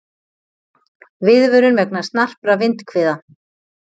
Viðvörun vegna snarpra vindhviða